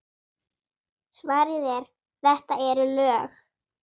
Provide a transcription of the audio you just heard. Svarið er: þetta eru lög!